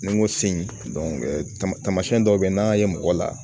Ni n ko sen tamasiyɛn dɔw be yen n'an y'a ye mɔgɔ la